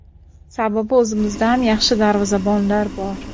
Sababi o‘zimizda ham yaxshi darvozabonlar bor.